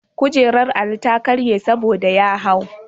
Kujerar Ali ta karye saboda ya hau.